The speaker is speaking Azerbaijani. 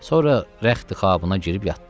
Sonra rəxti Xabına girib yatdı.